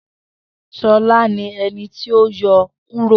Shola ni ẹni ti o yọ kuro.